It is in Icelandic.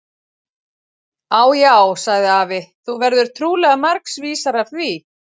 Á, já, sagði afi, þú verður trúlega margs vísari af því.